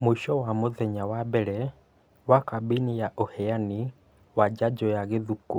Mũico wa mũthenya wa mbere wa kambĩini ya ũheani wa njajo ya gĩthũkũ